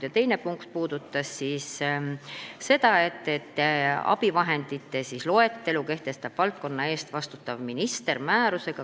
Teine punkt puudutas seda, et abivahendite loetelu kehtestab valdkonna eest vastutav minister määrusega.